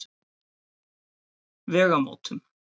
Vegamótum